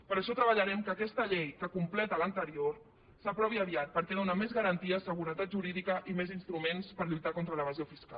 per això treballarem perquè aquesta llei que completa l’anterior s’aprovi aviat perquè dóna més garanties seguretat jurídica i més instruments per lluitar contra l’evasió fiscal